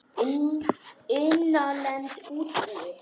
Innlend útibú.